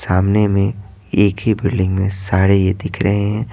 सामने में एक ही बिल्डिंग में सारे ये दिख रहे हैं।